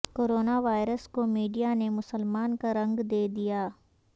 corona virus کو media نے مسلمان کا رنگ دے دیا